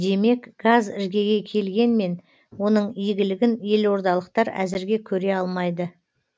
демек газ іргеге келгенмен оның игілігін елордалықтар әзірге көре алмайды